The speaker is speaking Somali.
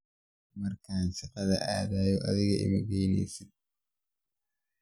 Markan shakada aadhay adhiga imageyneysid.